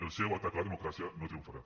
el seu atac a la democràcia no triomfarà